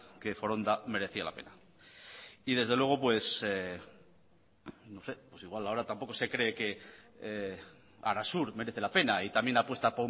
que foronda merecía la pena y desde luego pues igual ahora tampoco se cree que arasur merece la pena y también apuesta